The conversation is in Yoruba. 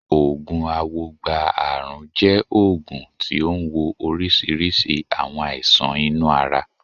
Oògùn awogba ààrùn jẹ́ oògùn tí ó ń wo oríṣiríṣi àwọn àìsàn inú ara.